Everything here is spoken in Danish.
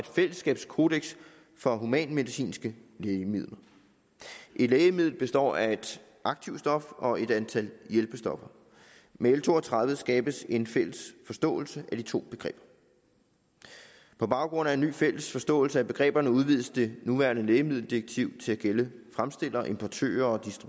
fællesskabskodeks for humanmedicinske lægemidler et lægemiddel består af et aktivt stof og et antal hjælpestoffer med l to og tredive skabes en fælles forståelse af de to begreber på baggrund af en ny fælles forståelse af begreberne udvides det nuværende lægemiddeldirektiv til at gælde fremstillere importører